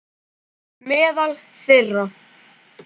Meðal þeirra